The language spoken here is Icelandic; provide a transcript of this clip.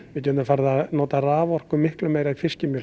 við getum farið að nota raforku miklu meira í